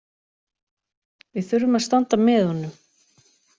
Við þurfum að standa með honum